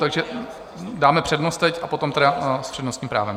Takže dáme přednost teď a potom tedy s přednostním právem.